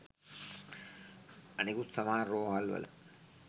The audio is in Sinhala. අනෙකුත් සමහර රෝහල්වල